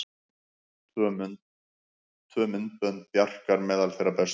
Tvö myndbönd Bjarkar meðal þeirra bestu